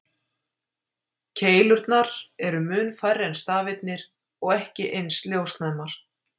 Keilurnar eru mun færri en stafirnir og ekki eins ljósnæmar.